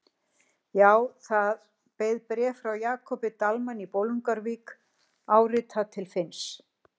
Já, það beið bréf frá Jakobi Dalmann í Bolungarvík, áritað til Finns.